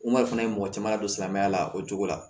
fana ye mɔgɔ caman ladon silamɛya la o cogo la